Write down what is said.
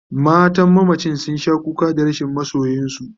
matan mamacin sun Sha kuka Dan rashin masoyinsu